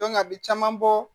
a bi caman bɔ